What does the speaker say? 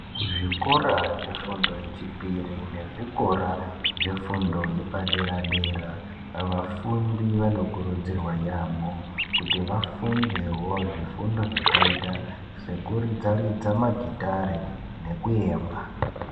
Kuzvikora zvefundo yechipiri nezvikora zvefundo yepadera dera vafundi vanokurudzirwa yaamho kuti vafundewo zvifundo zvakaita sekuridza ridza magitare nekuemba